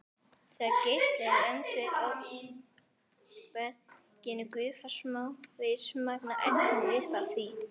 Þegar geislinn lendir á berginu gufar smávægilegt magn af efni upp af því.